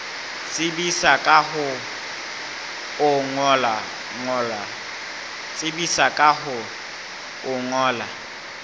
tsebisa ka ho o ngolla